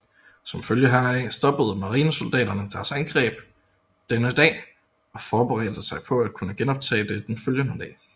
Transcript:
Som følge heraf stoppede marinesoldaterne deres angreb denne dag og forberedte sig på at kunne genoptage det den følgende dag